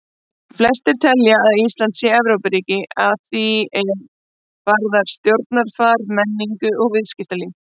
Flestir telja að Ísland sé Evrópuríki að því er varðar stjórnarfar, menningu og viðskiptalíf.